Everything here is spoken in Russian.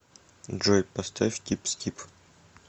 джой поставь типси тип